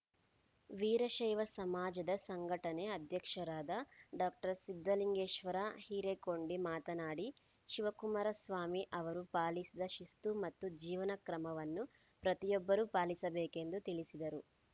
ವೀರಶೈವ ಸಮಾಜದ ಸಂಘಟನೆ ಅಧ್ಯಕ್ಷರಾದ ಡಾಕ್ಟರ್ ಸಿದ್ದಲಿಂಗೇಶ್ವರ ಹಿರೇಕೊಂಡಿ ಮಾತನಾಡಿ ಶಿವಕುಮಾರಸ್ವಾಮಿ ಅವರು ಪಾಲಿಸಿದ ಶಿಸ್ತು ಮತ್ತು ಜೀವನ ಕ್ರಮವನ್ನು ಪ್ರತಿಯೊಬ್ಬರೂ ಪಾಲಿಸಬೇಕೆಂದು ತಿಳಿಸಿದರು